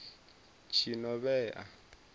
tshinovhea